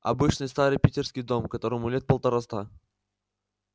обычный старый питерский дом которому лет полтораста